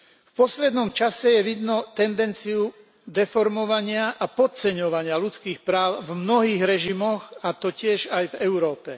V poslednom čase je vidno tendenciu deformovania a podceňovania ľudských práv v mnohých režimoch, a to tiež aj v Európe.